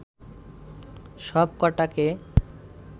সব কটাকে